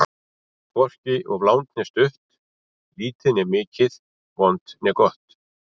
Hvorki of langt né stutt, lítið né mikið, vont né gott.